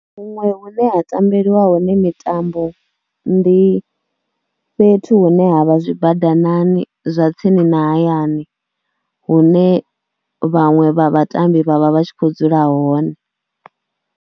Huṅwe hune ha tambeliwa hone mitambo ndi fhethu hune ha vha zwi badanani zwa tsini na hayani hune vhaṅwe vha vhatambi vha vha vha tshi khou dzula hone.